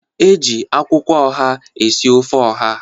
E ji akwụkwọ oha esi ofe oha.